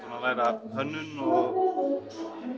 að læra hönnun og